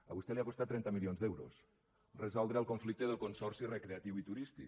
a vostè li ha costat trenta milions d’euros resoldre el conflicte del consorci recreatiu i turístic